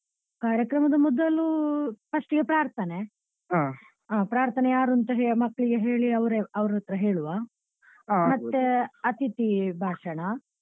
ಕಾರ್ಯಕ್ರಮದ ಮೊದಲು first ಗೆ ಪ್ರಾರ್ಥನೆ ಪ್ರಾರ್ಥನೆ ಯಾರು ಅಂತ ಮಕ್ಳಿಗೆ ಕೇಳಿ ಅವರೇ ಅವರತ್ರ ಹೇಳುವ ಮತ್ತೆ ಅತಿಥಿ ಭಾಷಣ.